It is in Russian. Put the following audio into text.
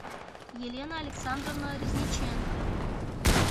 елена александровна резниченко